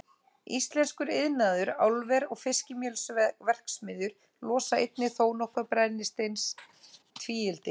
Íslenskur iðnaður, álver og fiskimjölsverksmiðjur losa einnig þónokkuð af brennisteinstvíildi.